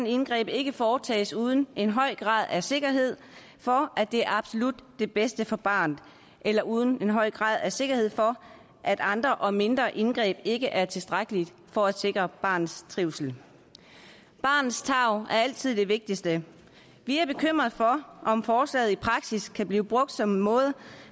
indgreb ikke foretages uden en høj grad af sikkerhed for at det er absolut det bedste for barnet eller uden en høj grad af sikkerhed for at andre og mindre indgreb ikke er tilstrækkelige for at sikre barnets trivsel barnets tarv er altid det vigtigste vi er bekymrede for om forslaget i praksis kan blive brugt som en måde